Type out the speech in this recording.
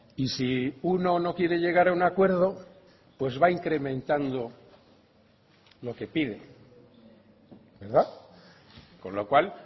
y si uno no quiere llegar a un acuerdo pues va a incrementando lo que pide verdad con lo cual